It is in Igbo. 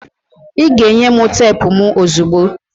ị ga-enye m teepu m ozugbo!